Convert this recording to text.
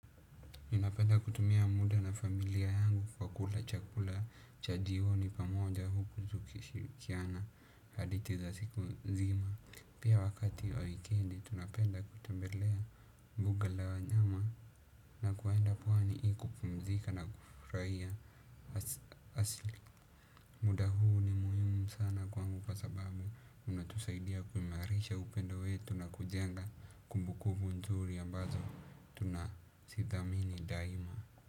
Ninapenda kutumia muda na familia yangu kwa kula chakula cha jioni pamoja huku tukishirikiana hadithi za siku nzima. Pia wakati wa wikendi tunapenda kutembelea mbuga la wanyama na kuenda pwani ili kupumzika na kufurahia Asli muda huu ni muhimu sana kwangu kwa sababu unatusaidia kuimarisha upendo wetu na kujenga kumbukubu nzuri ambazo tunazithamini daima.